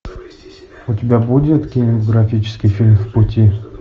у тебя будет кинематографический фильм в пути